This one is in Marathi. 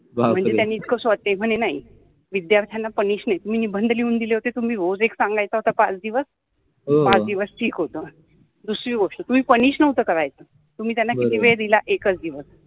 बापरे, म्हनजे त्यानि सॉल्व केल पन ते म्हने नाहि विद्यार्थ्याना पनिश नाहि, तुम्हि निबंध लिहुन दिले होते तुम्हि रोज एक सांगायच होता पाच दिवस पाच दिवस ठिक होत, दुसरि गोष्ट तुम्हि पनिश नवत करायच, तुम्हि त्याना किति वेळ दिला एकच दिवस